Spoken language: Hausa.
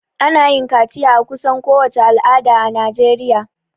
Ana yin kaciya a kusan kowace al'ada a najeriya